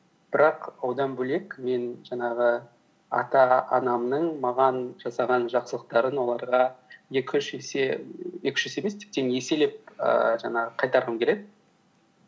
бірақ одан бөлек мен жаңағы ата анамның маған жасаған жақсылықтарын оларға екі үш есе екі үш есе емес тіптен еселеп ііі жаңағы қайтарғым келеді